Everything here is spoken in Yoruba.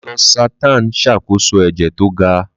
Losartan ń ṣàkóso ẹ̀jẹ̀ tó ga.